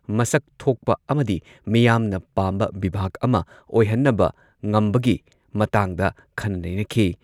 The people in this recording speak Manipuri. ꯃꯁꯛ ꯊꯣꯛꯄ ꯑꯃꯗꯤ ꯃꯤꯌꯥꯝꯅ ꯄꯥꯝꯕ ꯕꯤꯚꯥꯒ ꯑꯃ ꯑꯣꯏꯍꯟꯅꯕ ꯉꯝꯕꯒꯤ ꯃꯇꯥꯡꯗ ꯈꯟꯅ ꯅꯩꯅꯈꯤ꯫